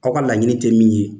Aw ka laɲinin tɛ min ye